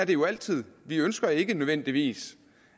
det jo altid vi ønsker ikke nødvendigvis